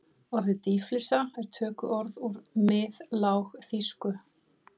Orðið dýflissa er tökuorð úr miðlágþýsku.